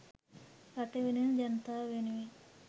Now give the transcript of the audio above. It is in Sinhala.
රට වෙනුවෙන් ජනතාව වෙනුවෙන්